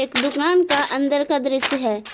एक दुकान का अंदर का दृश्य है।